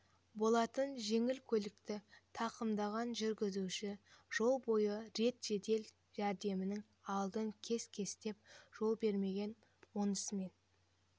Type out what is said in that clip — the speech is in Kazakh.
болатын жеңіл көлікті тақымдаған жүргізуші жол бойы рет жедел жәрдемнің алдын кес-кестеп жол бермеген онысымен